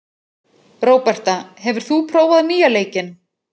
Róberta, hefur þú prófað nýja leikinn?